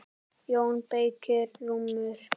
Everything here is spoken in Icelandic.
JÓN BEYKIR: Rúmur!